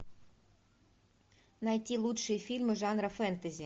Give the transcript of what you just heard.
найти лучшие фильмы жанра фэнтези